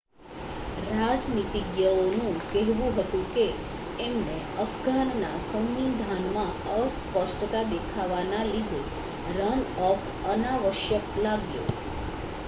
રાજનીતિજ્ઞઓ નું કહેવું હતું કે એમને અફઘાનના સવિંધાનમાં અસ્પષ્તા દેખાવા ના લીધે રન-ઑફ અનાવશ્યક લાગ્યો